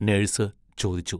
Nurse ചോദിച്ചു.